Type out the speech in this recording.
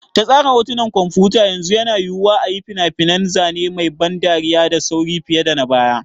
Ta tsara hotunan kwamfuta, yanzu yana yiwuwa a yi fina-finan zane mai ban dariya da sauri fiye da na baya.